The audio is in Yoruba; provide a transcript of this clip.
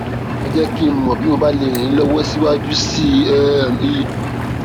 ẹ jẹ kí n mọ bí mo bá lè ràn yín lọwọ síwájú sí um i